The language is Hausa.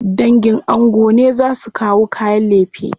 Dangin ango ne za su kawo kayan lefe.